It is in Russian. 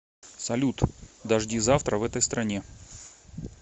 салют дожди завтра в этой стране